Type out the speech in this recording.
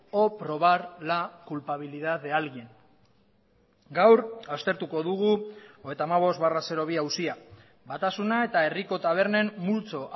o probar la culpabilidad de alguien gaur aztertuko dugu hogeita hamabost barra bi auzia batasuna eta herriko tabernen multzo